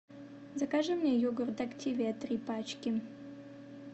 закажи мне йогурт активия три пачки